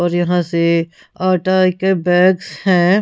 और यहां से आटा के बैग्स है।